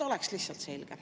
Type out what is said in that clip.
Lihtsalt et oleks selge.